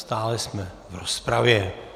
Stále jsme v rozpravě.